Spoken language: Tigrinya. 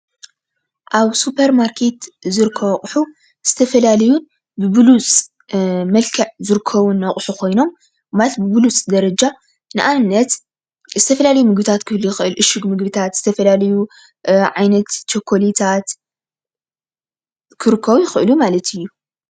ኣብ ሱፐርማርኬት ዝርከቡ ኣቑሑ ዝተፈላለዩ ብብሉፅ መልክዕ ዝርከበሉ አቑሑ ኮይኖም፣ ማለት ብብሉፅ ደረጃ፣ ንአብነት ዝተፈላለዩ ምግብታት ክህልዉ ይክእሉ እዮም፣ እሹግ ምግብታት ፣ዝተፈላለዩ ዓይነት ቸኮሌታት ክርከቡ ይኽእሉ ማለት እዩ።